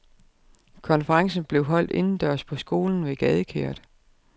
Konferencen blev holdt indendørs på skolen ved gadekæret.